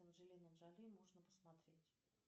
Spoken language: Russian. анджелина джоли можно посмотреть